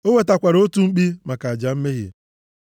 O wetakwara otu mkpi maka aja mmehie,